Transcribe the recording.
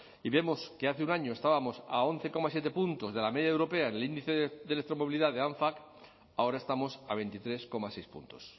y vemos que hace un año estábamos a once coma siete puntos de la media europea en el índice de electromovilidad de anfac ahora estamos a veintitrés coma seis puntos